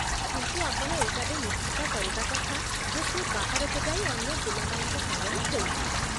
କିନ୍ତୁ ଆପଣ ଏଇଟା ବି ନିଶ୍ଚିତ କରିବା କଥା ଯେ ସିଏ ବାହାରକୁ ଯାଇ ଅନ୍ୟ ପିଲାମାନଙ୍କ ସାଙ୍ଗରେ ଖେଳୁଛି ।